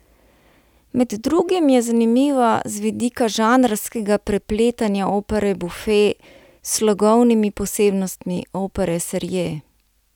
Med drugim je zanimiva z vidika žanrskega prepletanja opere buffe s slogovnimi posebnostmi opere serie.